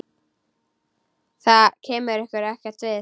Það kemur ykkur ekkert við.